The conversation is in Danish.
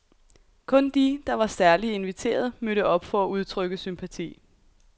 Kun de, der var særligt inviteret, mødte op for at udtrykke sympati.